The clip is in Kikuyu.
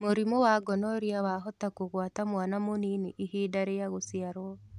Mũrimũ wa gonorrhea wahota kũgwata mwana mũnini ihinda rĩa gũciarwo